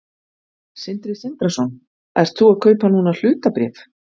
Sindri Sindrason: Ert þú að kaupa núna hlutabréf?